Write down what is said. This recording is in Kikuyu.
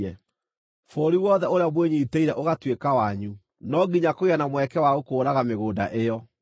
Bũrũri wothe ũrĩa mwĩnyiitĩire ũgaatuĩka wanyu, no nginya kũgĩe na mweke wa gũkũũraga mĩgũnda ĩyo.